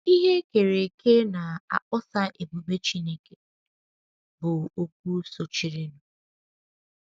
“ Ihe E Kere Eke Na - akpọsa Ebube Chineke ” bụ okwu sochirinụ. sochirinụ.